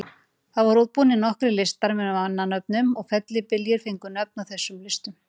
Það voru útbúnir nokkrir listar með mannanöfnum og fellibyljir fengu nöfn af þessum listum.